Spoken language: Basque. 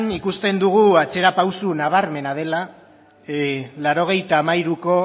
ikusten dugu atzera pausu nabarmena dela laurogeita hamairuko